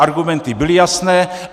Argumenty byly jasné.